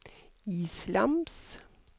islams